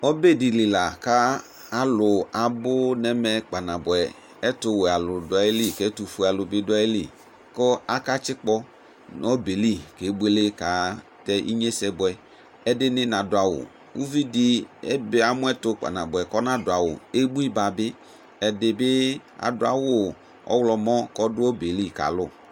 Ɔbɛ dɩ li la kʋ alʋ abʋ nʋ ɛvɛ kpanabʋɛ Ɛtʋwɛ alʋ dʋ ayili, ɛtʋfue alʋ bɩ dʋ ayili kʋ akatsɩkpɔ nʋ ɔbɛ yɛ li kebuele katɛ inyesɛ bʋɛ Ɛdɩnɩ nadʋ awʋ Uvi dɩ ebe amʋ ɛtʋ kpanabʋɛ kʋ ɔnadʋ awʋ Ebuiba ba bɩ Ɛdɩ bɩ adʋ awʋ ɔɣlɔmɔ kʋ ɔdʋ ɔbeli kalʋ